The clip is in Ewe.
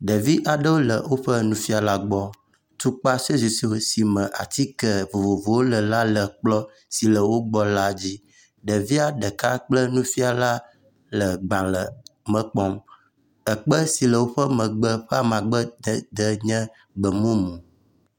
Ɖevi aɖewo le woƒe nufialawo gbɔ, tukpa… si me atike vovovowo le la le kplɔ si le wo gbɔ la dzi. Ɖevia ɖeka kple nufiala le gbalẽ me kpɔm, ekpe si le woƒe megbe ƒe amadede nye gbemumu.